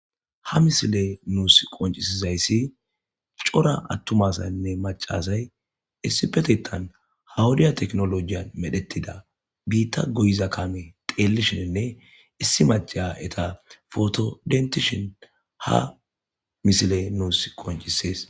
Ha misile nusi qoncisiza issi cora atuma asayinne maca asayi issippetetenan ha wodiya techenolojyiyan meretida mitha goyida kame goyishine issi maca eta photo dentishe ha misile nusi qoncises.